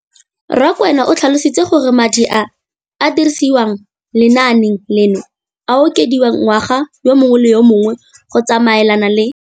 Rakwena o tlhalositse gore madi a a dirisediwang lenaane leno a okediwa ngwaga yo mongwe le yo mongwe go tsamaelana le